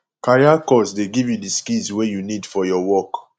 career course dey give you di skills wey you need for your work